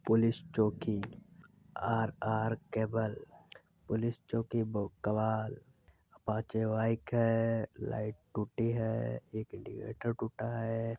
Police चौकी RR cable police चौकी Apache light टूटी है एक इंडिकेटर टूटा है।